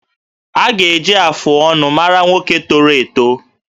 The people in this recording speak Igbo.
A ga-eji afụ ọnụ mara nwoke toro eto